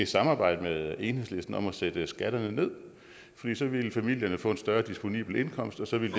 samarbejde med enhedslisten om at sætte skatterne ned fordi så ville familierne få en større disponibel indkomst og så ville